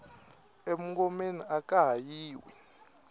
e mungomeni aka ha yiwi